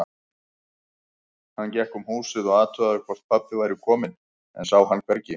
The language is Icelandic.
Hann gekk um húsið og athugaði hvort pabbi væri kominn, en sá hann hvergi.